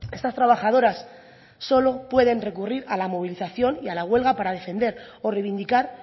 estas trabajadoras solo pueden recurrir a la movilización y a la huelga para defender o reivindicar